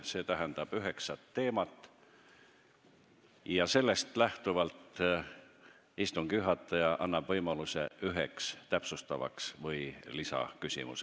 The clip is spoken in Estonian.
See tähendab üheksat teemat, millest lähtuvalt annab istungi juhataja võimaluse esitada üks täpsustav või lisaküsimus.